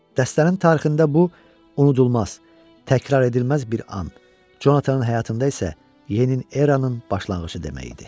Dəstənin tarixində bu unudulmaz, təkrar edilməz bir an, Conatanın həyatında isə yeni bir eranın başlanğıcı demək idi.